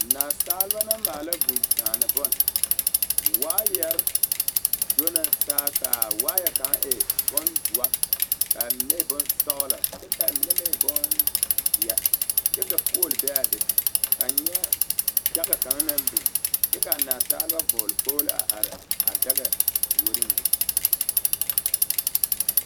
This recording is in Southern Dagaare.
Naasaleba la maala vūūkyaane bon waayɛre do na saa ka a waayɛ kaŋ e bondoɔ ka a mine e bonsɔɡelɔ kyɛ ka a mine meŋ e bonzeɛ kyɛ ka pool be a be ka n nyɛ daɡa kaŋ naŋ biŋ kyɛ ka a naasaleba vɔɔl kpoɡelo a are a daɡa puoriŋ be.